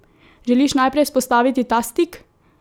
Želiš najprej vzpostaviti ta stik?